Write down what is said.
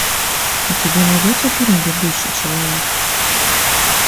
у тебя найдется фильм бегущий человек